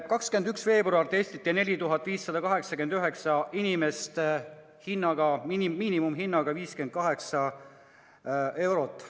21. veebruaril testiti 4589 inimest miinimumhinnaga 58 eurot.